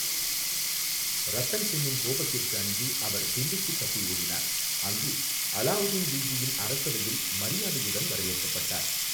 ரத்தன் சென்னின் கோபத்திற்கு அஞ்சி அவர் டில்லிக்குத் தப்பி ஓடினார், அங்கு அலாவுதீன் கில்ஜியின் அரசவையில் மரியாதையுடன் வரவேற்கப்பட்டார்.